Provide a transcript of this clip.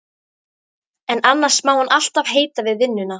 En annars má hann alltaf heita við vinnuna.